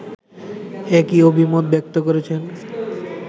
একই অভিমত ব্যক্ত করেছেন